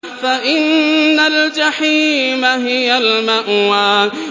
فَإِنَّ الْجَحِيمَ هِيَ الْمَأْوَىٰ